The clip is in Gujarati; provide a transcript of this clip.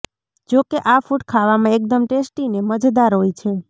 જો કે આ ફૂડ ખાવામાં એકદમ ટેસ્ટી ને મજેદાર હોય છે